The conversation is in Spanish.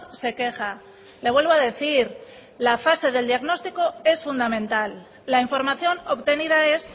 se queja le vuelvo a decir que la fase del diagnóstico es fundamental la información obtenida es